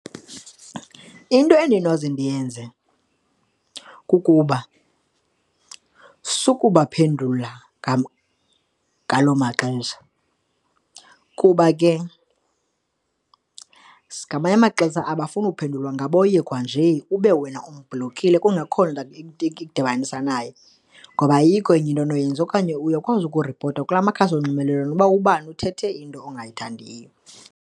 Into endinoze ndiyenze kukuba, sukubaphendula ngaloo maxesha kuba ke ngamanye amaxesha abafuni uphendulwa ngaboyekwa nje ube wena umblokile kungekho nto ikudibanisa naye, ngoba ayikho enye into onoyenza. Okanye uyakwazi ukuripota kula makhasi onxibelelwano uba ubani uthethe into ongayithandiyo.